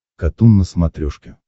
катун на смотрешке